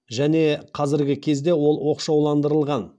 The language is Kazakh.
және қазіргі кезде ол оқшауландырылған